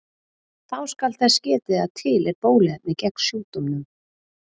Þá skal þess getið að til er bóluefni gegn sjúkdómnum.